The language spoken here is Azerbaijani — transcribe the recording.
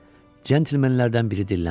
Centlemenlərdən biri dilləndi.